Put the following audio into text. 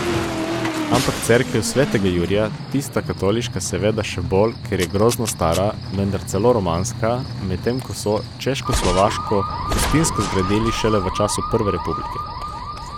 Ampak cerkev svetega Jurija, tista katoliška, seveda še bolj, ker je grozno stara, menda celo romanska, medtem ko so češkoslovaško husitsko zgradili šele v času prve republike.